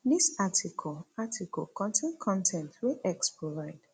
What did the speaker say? dis article article contain con ten t wey x provide